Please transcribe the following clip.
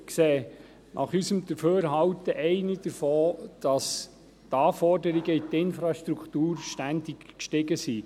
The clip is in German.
nach unserem Dafürhalten ist einer davon, dass die Anforderungen an die Infrastruktur ständig gestiegen sind.